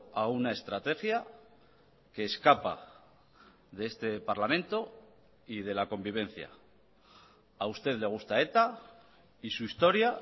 a una estrategia que escapa de este parlamento y de la convivencia a usted le gusta eta y su historia